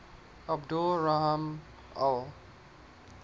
abdul rahman al